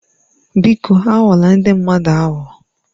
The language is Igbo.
Biko aghọla ndị mmadụ aghụghọ.